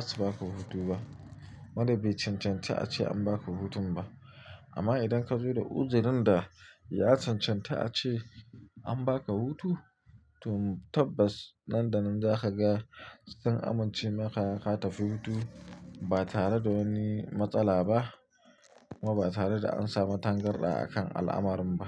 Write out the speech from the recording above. zasu ba ka hutu ba. Wannan bai cancanta ace an baka hutun ba. Amma idan ka zo da uzirin da ya cancanta ace an baka hutu, to tabbas nan da nan za ka ga sun amince maka ka tafi hutu ba tare da wani matsala ba kuma ba tare da an samu tangarɗa a kan al'amarin ba.